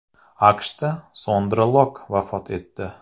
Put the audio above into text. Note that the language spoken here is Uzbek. AQShda Sondra Lokk vafot etdi.